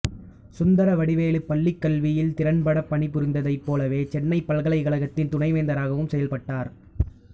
சுந்தரவடிவேலு பள்ளிக் கல்வியில் திறம்படப் பணிபுரிந்ததைப் போலவே சென்னைப் பல்கலைக்கழகத்தின் துணைவேந்தராகவும் செயல்பட்டார்